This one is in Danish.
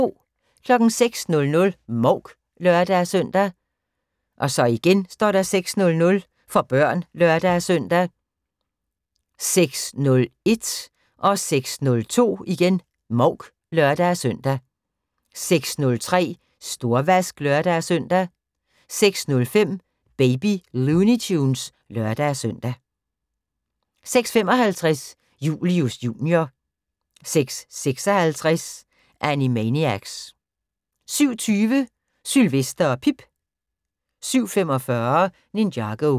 06:00: Mouk (lør-søn) 06:00: For børn (lør-søn) 06:01: Mouk (lør-søn) 06:02: Mouk (lør-søn) 06:03: Storvask (lør-søn) 06:05: Baby Looney Tunes (lør-søn) 06:55: Julius Jr. 06:56: Animaniacs 07:20: Sylvester og Pip 07:45: Ninjago